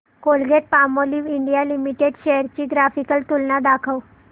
Colgate Palmolive India limited shares ची graphical तुलना दाखव